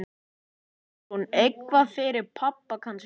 Hugrún: Eitthvað fyrir pabba kannski?